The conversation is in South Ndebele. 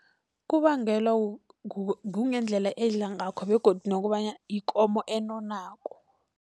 Kubangelwa kungendlela edla ngakho begodu nokobanyana ikomo enonako.